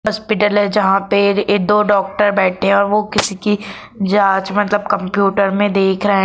hospital है जहां पे दो डॉक्टर बैठे हुए हैं वह किसी की जांच मतलब कंप्यूटर में देख रहा --